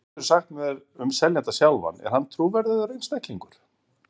En hvað geturðu sagt mér um seljandann sjálfan, er hann trúverðugur einstaklingur?